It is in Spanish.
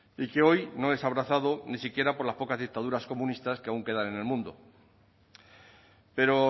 y que hoy no es abrazado ni siquiera por las pocas dictaduras comunistas que aún quedan en el mundo pero